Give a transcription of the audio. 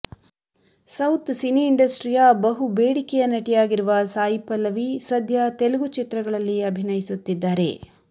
south cine ಇಂಡಸ್ಟ್ರಿಯ ಬಹು ಬೇಡಿಯ ನಟಿಯಾಗಿರುವ ಸಾಯಿ ಪಲ್ಲವಿ ಸದ್ಯ ತೆಲುಗು ಚಿತ್ರಗಳಲ್ಲಿ ಅಭಿನಯಿಸುತ್ತಿದ್ದಾರೆ